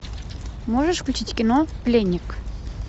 можешь включить кино пленник